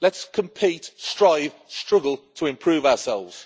Let's compete, strive and struggle to improve ourselves.